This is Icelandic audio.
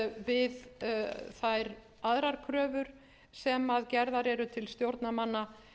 við þær aðrar kröfur sem gerðar eru til stjórnarmanna